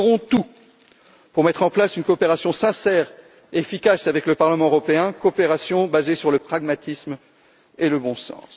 Nous ferons tout pour mettre en place une coopération sincère et efficace avec le Parlement européen, basée sur le pragmatisme et le bon sens.